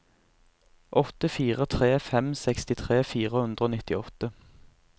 åtte fire tre fem sekstitre fire hundre og nittiåtte